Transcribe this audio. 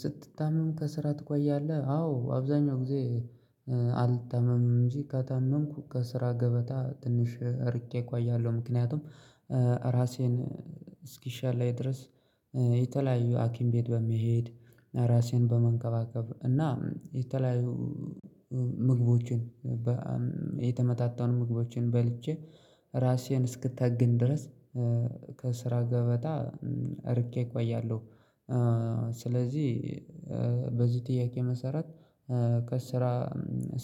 ስትታመም ከስራ ትቆያለህ አዎ አብዛኛው ጊዜ አልታመምም እንጂ ከታመምኩ ከስራ ገበታ ትንሽ ርቄ እኮ እያለሁ ምክንያቱም ራሴን እስኪሻለይ ድረስ። የተለያዩ ሀኪም ቤት በመሄድ ራሴን በመንከባከብ እና የተለያዩ ም ምግቦችን በኣእ የተመጣጠኑ ምግቦችን በልቼ ራሴን እስክጠግን ድረስ ከስራ ገበታ ርቄ እቆያለሁ። ስለዚህ በዚህ ጥያቄ መሰረት ከስራ